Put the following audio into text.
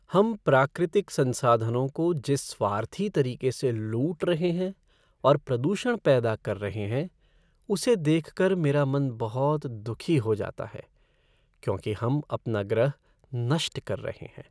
हम प्राकृतिक संसाधनों को जिस स्वार्थी तरीके से लूट रहे हैं और प्रदूषण पैदा कर रहे हैं उसे देख कर मेरा मन बहुत दुखी हो जाता है क्योंकि हम अपना ग्रह नष्ट कर रहे हैं।